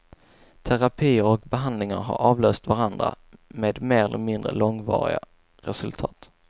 Terapier och behandlingar har avlöst varandra, med mer eller mindre långvariga resultat.